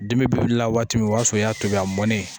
Dimi bɛ wuli la waati min o y'a sɔrɔ o y'a tobi a mɔnen